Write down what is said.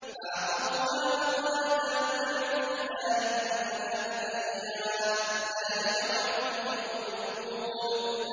فَعَقَرُوهَا فَقَالَ تَمَتَّعُوا فِي دَارِكُمْ ثَلَاثَةَ أَيَّامٍ ۖ ذَٰلِكَ وَعْدٌ غَيْرُ مَكْذُوبٍ